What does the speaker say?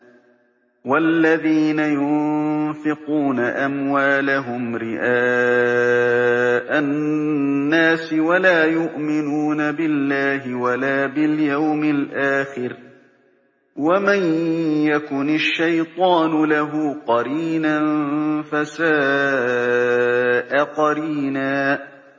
وَالَّذِينَ يُنفِقُونَ أَمْوَالَهُمْ رِئَاءَ النَّاسِ وَلَا يُؤْمِنُونَ بِاللَّهِ وَلَا بِالْيَوْمِ الْآخِرِ ۗ وَمَن يَكُنِ الشَّيْطَانُ لَهُ قَرِينًا فَسَاءَ قَرِينًا